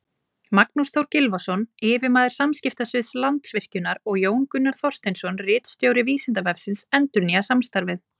Magnús Þór Gylfason, yfirmaður samskiptasviðs Landsvirkjunar, og Jón Gunnar Þorsteinsson, ritstjóri Vísindavefsins, endurnýja samstarfið.